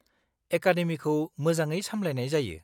-एकादेमिखौ मोजाङै सामलायनाय जायो।